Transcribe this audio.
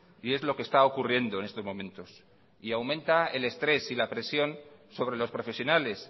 y es lo que está ocurriendo en estos momentos y aumenta el estrés y la presión sobre los profesionales